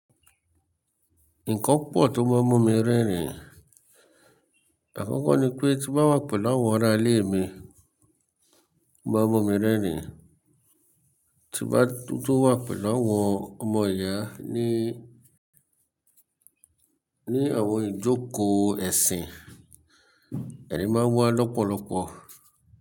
Nǹkan po tó máa mọ́ mi rẹ́rìn. Àkọ́kọ́ ni pé tí bá wà pẹ̀lú àwọn ará ilé mi, ó máa mu mi rẹ́rìn. Tí n bá tó wà pẹ̀lú àwọn ọmọ ìyá ní, ní àwọn ìjókòó ẹ̀sìn, ẹ̀rín máa wà lọ́pọ̀lọpọ̀.